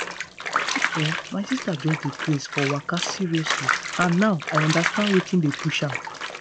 you see[um]my sister just dey craze for waka seriously and now i understand wetin dey push am.